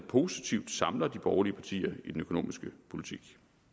positivt samler de borgerlige partier i den økonomiske politik